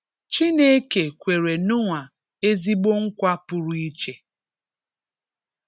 Chineke kwere Noah ezigbo nkwa pụrụ iche.